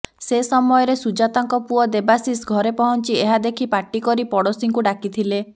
ସେ ସମୟରେ ସୁଜାତାଙ୍କ ପୁଅ ଦେବାଶିଷ ଘରେ ପହଞ୍ଚି ଏହା ଦେଖି ପାଟି କରି ପଡ଼ୋଶୀଙ୍କୁ ଡାକିଥିଲେ